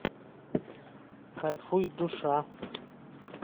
кайфуй душа